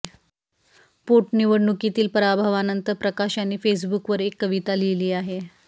पोटनिवडणुकीतील पराभवानंतर प्रकाश यांनी फेसबुकवर एक कविता लिहिली आहे